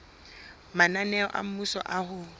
mananeo a mmuso a ho